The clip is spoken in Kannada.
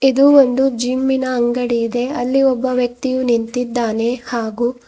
ಇದು ಒಂದು ಜಿಮ್ಮಿ ನ ಅಂಗಡಿ ಇದೆ ಅಲ್ಲಿ ಒಬ್ಬ ವ್ಯಕ್ತಿ ನಿಂತಿದ್ದಾನೆ ಹಾಗು --